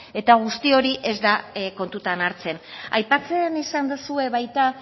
eta guzti hori ez da kontutan hartzen aipatzen izan duzue baita